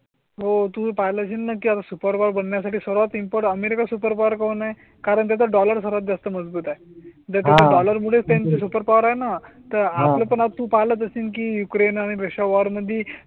हो तुम्ही पाहिला असेल ना क्या सुपर बघण्या साठी सर्वात इनपुट अमेरिका सुपर पॉवर कौन आहे कारण त्याचा डॉलर सर्वात जास्त मजबूत आहे. तर त्याच्या डॉलर मुळेच त्यामुळे सुपरपॉवर आहे ना तर आपला पण आता आपण तुम्हाला जसं की यूक्रेन आणि रशिया वॉर मध्ये